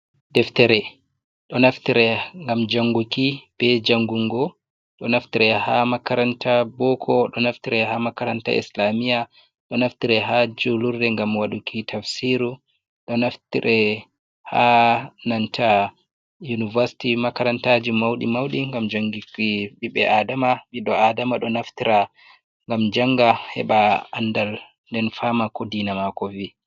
Deftere: Ɗo naftire ngam janguki be jangungo. Ɗo naftire ha makaranta boko, do naftire ha makaranta islamiya, do naftire ha julurɗe ngam waduki tafsiru, do naftire ha nanta Universities (makarantaji mauɗi) ngam janguki ɓiɓɓe Adama. Ɓiɓɓe Adama ɗo naftira ngam janga heɓa andal den fama ko deena mako vi.